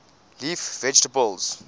leaf vegetables